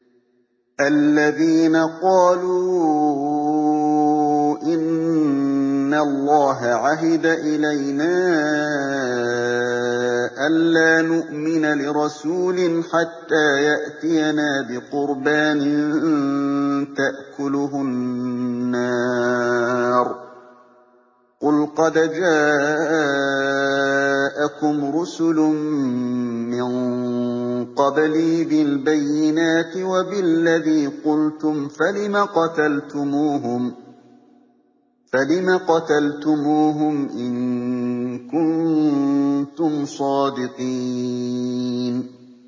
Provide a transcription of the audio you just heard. الَّذِينَ قَالُوا إِنَّ اللَّهَ عَهِدَ إِلَيْنَا أَلَّا نُؤْمِنَ لِرَسُولٍ حَتَّىٰ يَأْتِيَنَا بِقُرْبَانٍ تَأْكُلُهُ النَّارُ ۗ قُلْ قَدْ جَاءَكُمْ رُسُلٌ مِّن قَبْلِي بِالْبَيِّنَاتِ وَبِالَّذِي قُلْتُمْ فَلِمَ قَتَلْتُمُوهُمْ إِن كُنتُمْ صَادِقِينَ